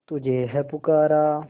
तुझे है पुकारा